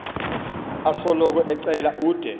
osoloko ecela ude